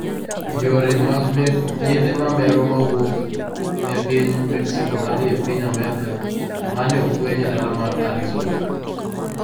Yore mag yedhe mamero mawuok e piny Mexico madhi e piny Amerka, ma ne ofweny e dala mar Arizona